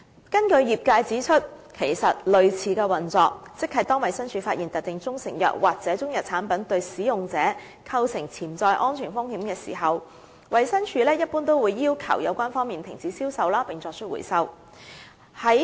根據業界指出，其實類似的運作，即當衞生署發現特定中成藥或中藥產品對使用者構成潛在安全風險時，一般會要求有關方面停止銷售並作出回收。